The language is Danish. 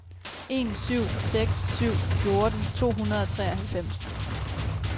en syv seks syv fjorten to hundrede og treoghalvfems